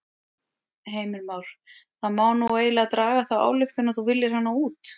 Heimir Már: Það má nú eiginlega draga þá ályktun að þú viljir hana út?